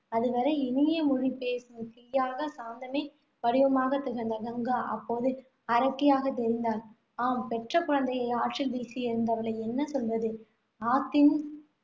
அதுவரை இனிய மொழி பேசும் கிளியாக, சாந்தமே வடிவமாகத் திகழ்ந்த கங்கா, அப்போது அரக்கியாகத் தெரிந்தாள். ஆம் பெற்ற குழந்தையை ஆற்றில் வீசி எறிந்தவளை என்ன சொல்வது ஆத்தின்